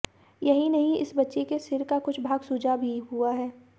यही नहीं इस बच्ची के सिर का कुछ भाग सुजा भी हुआ है